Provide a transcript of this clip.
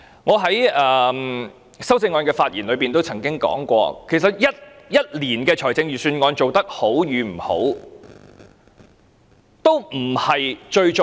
我在就修正案發言時曾說，其實一年的預算案做得好與不好，都不是最重要。